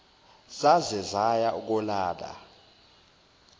zaze zaya kolala